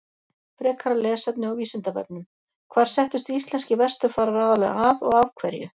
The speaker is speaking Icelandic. Frekara lesefni á Vísindavefnum: Hvar settust íslenskir vesturfarar aðallega að og af hverju?